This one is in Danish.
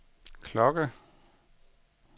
klokke